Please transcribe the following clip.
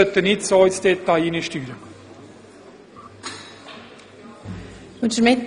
Wir sollten nicht so sehr ins Detail hineinsteuern.